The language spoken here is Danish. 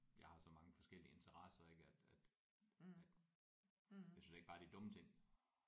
Jeg har så mange forskellige interesser ik at at at jeg synes ikke bare det er dumme ting